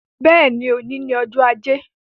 Bẹ́ẹ̀ni, òní ni ọjọ́ ajé.